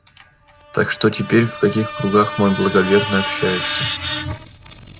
так что теперь в каких кругах мой благоверный общается